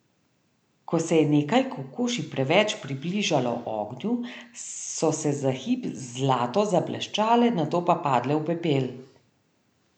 Ko se je nekaj kokoši preveč približalo ognju, so se za hip zlato zableščale, nato pa padle v pepel.